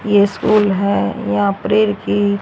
ये स्कूल है यहाँ प्रेर की--